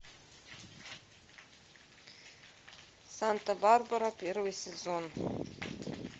санта барбара первый сезон